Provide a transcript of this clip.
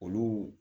Olu